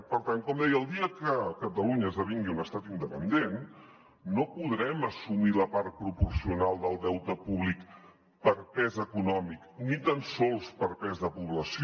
per tant com deia el dia que catalunya esdevingui un estat independent no podrem assumir la part proporcional del deute públic per pes econòmic ni tan sols per pes de població